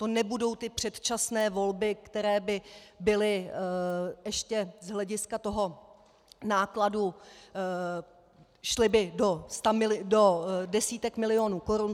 To nebudou ty předčasné volby, které by byly ještě z hlediska toho nákladu, šly by do desítek milionů korun.